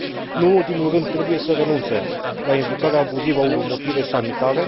Nu în ultimul rând, trebuie să renunțe la invocarea abuzivă a unor motive sanitare.